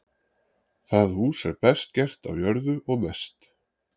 Það hús er best gert á jörðu og mest.